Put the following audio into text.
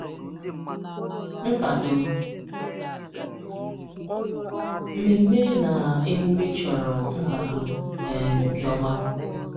Nkwado: Mmemme na emume chọrọ nkwado um nke ọma.